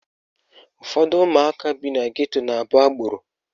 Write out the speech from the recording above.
Ụfọdụ ụmụaka bi na geto na-abụ agboro